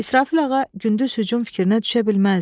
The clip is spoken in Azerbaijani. İsrafil ağa gündüz hücum fikrinə düşə bilməzdi.